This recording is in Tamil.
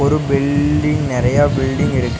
ஒரு பில்டிங் நெறைய பில்டிங் இருக்கு.